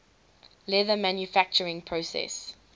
leather manufacturing process